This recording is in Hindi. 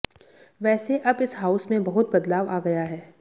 वैसे अब इस हाउस में बहुत बदलाव आ गया है